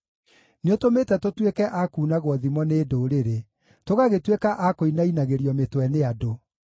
Nĩũtũmĩte tũtuĩke a kuunagwo thimo nĩ ndũrĩrĩ; tũgagĩtuĩka a kũinainagĩrio mĩtwe nĩ andũ.